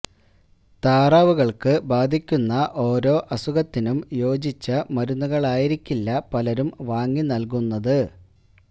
താറാവുകള്ക്ക് ബാധിക്കുന്ന ഓരോ അസുഖത്തിനും യോജിച്ച മരുന്നുകളായിരിക്കില്ല പലരും വാങ്ങി നല്കുന്നത്